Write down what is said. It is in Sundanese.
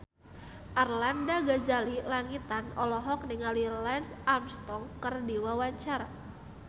Arlanda Ghazali Langitan olohok ningali Lance Armstrong keur diwawancara